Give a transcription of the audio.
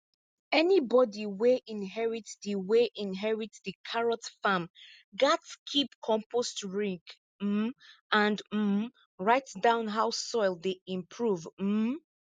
anybody wey inherit di wey inherit di carrot farm gats keep compost rig um and um write down how soil dey improve um